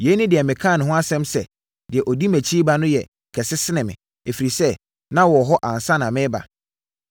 Yei ne deɛ mekaa ne ho asɛm sɛ, ‘Deɛ ɔdi mʼakyi reba no yɛ kɛse sene me, ɛfiri sɛ, na ɔwɔ hɔ ansa na mereba.’